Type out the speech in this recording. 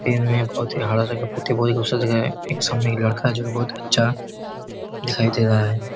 पोथी बहुत गुसल जगह है एक समने यह लड़का जो बहोत अच्छा दिखाई दे रहा है।